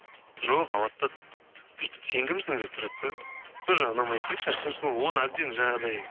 жоқ алады да бүйтіп сен кімсің деп тұрады да сол жағы ұнамайды да кішкене шыншыл оны әбден жаңағыдай